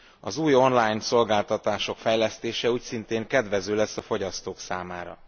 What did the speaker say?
Az új online szolgáltatások fejlesztése úgyszintén kedvező lesz a fogyasztók számára.